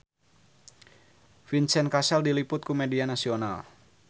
Vincent Cassel diliput ku media nasional